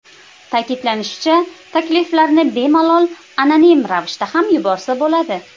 Ta’kidlanishicha, takliflarni bemalol anonim ravishda ham yuborsa bo‘ladi.